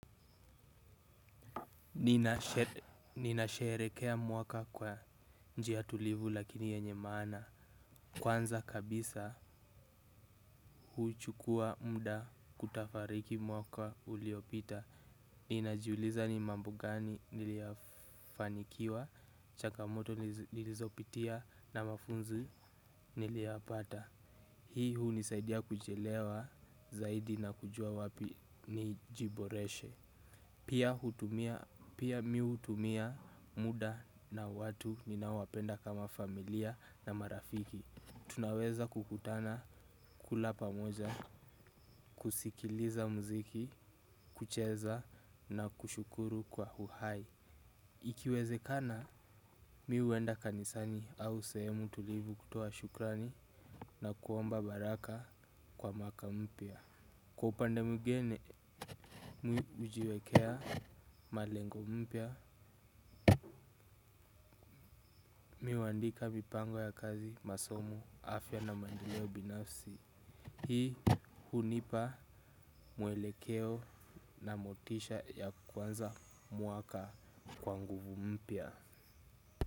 Ninasherekea mwaka kwa njia tulivu lakini yenye maana. Kwanza kabisa huuchukua mda kutafariki mwaka uliopita. Ninajiuliza ni mambo gani niliafanikiwa chaka moto nilizopitia na mafunzi niliyapata. Hii hunisaidia kujielewa zaidi na kujua wapi nijiboreshe. Pia miutumia muda na watu ninawapenda kama familia na marafiki. Tunaweza kukutana kula pamoja, kusikiliza mziki, kucheza na kushukuru kwa huhai. Ikiwezekana, mi uenda kanisani au sehemu tulivu kutoa shukrani na kuomba baraka kwa maka mpya. Kwa pande mwigine mi ujiwekea malengo mpya mi uandika mipango ya kazi masomo afya na mandeleo binafsi. Hii hunipa mwelekeo na motisha ya kwanza mwaka kwa nguvu mpya.